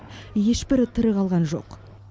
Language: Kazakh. ешбірі тірі қалған жоқ